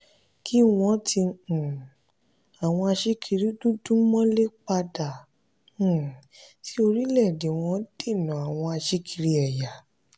kí wọ́n tì um àwọn aṣíkiri dúdú mọ́lé padà um sí orílẹ̀ wọn dènà àwọn aṣíkiri ẹ̀yà.